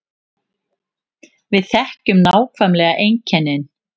Við þekkjum nákvæmlega einkennin